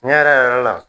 Tiɲɛ yɛrɛ yɛrɛ yɛrɛ la